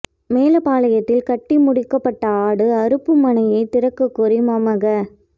மேலப்பாளையத்தில் கட்டி முடிக்கப்பட்ட ஆடு அறுப்பு மனையை திறக்கக் கோரி மமக